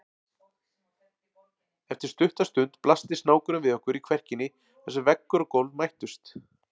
Eftir stutta stund blasti snákurinn við okkur í kverkinni þar sem veggur og gólf mættust.